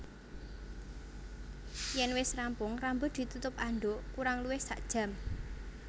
Yèn wis rampung rambut ditutup andhuk kurang luwih sakjam